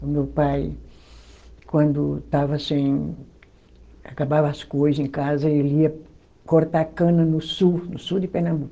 O meu pai, quando estava sem, acabava as coisa em casa, ele ia cortar cana no sul, no sul de Pernambuco.